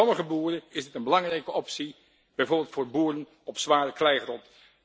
Voor sommige boeren is dit een belangrijke optie, bijvoorbeeld voor boeren op zware kleigrond.